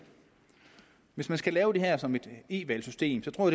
hvis man skal lave det her som et e valgsystem tror